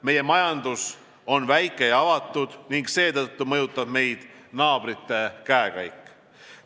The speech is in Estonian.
Meie majandus on väike ja avatud ning seetõttu mõjutab meid naabrite käekäik.